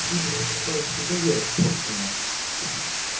или ты считаешь что это я испорченная